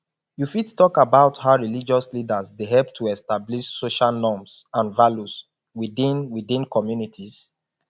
you fit talk about how religious leaders dey help to establish social norms and values within within communities